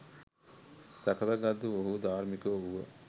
සකසා ගත් ඔවුහු ධාර්මිකයෝ වූහ.